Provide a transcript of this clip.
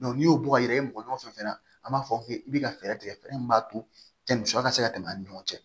n'i y'o bɔn i yɛrɛ ye mɔgɔ ɲɔgɔn fɛn fɛn na an b'a fɔ k'i bɛ ka fɛɛrɛ tigɛ min b'a to yanni sɔ ka se ka tɛmɛ an ni ɲɔgɔn cɛ